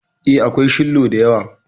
E, akwai shillo da yawa.